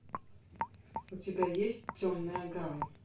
у тебя есть темная гавань